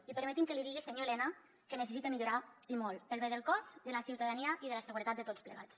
i permeti’m que li digui senyor elena que necessita millorar i molt pel bé del cos de la ciutadania i de la seguretat de tots plegats